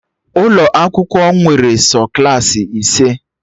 Ụlọ akwụkwọ nwere sọ Klassị ise